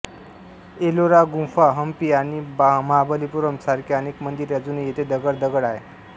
एलोरा गुंफा हम्पी आणि महाबलीपुरम सारख्या अनेक मंदिरे अजूनही येथे दगड दगड आहे